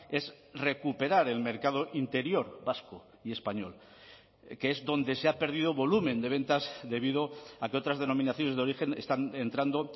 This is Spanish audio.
es recuperar el mercado interior vasco y español que es donde se ha perdido volumen de ventas debido a que otras denominaciones de origen están entrando